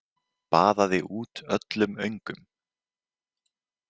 Baðaði út öllum öngum.